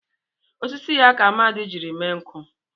Osisi ya ka Amadi jiri mee nkụ.